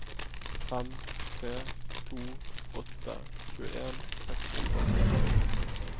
fem tre to åtte tjueen seks hundre og seksti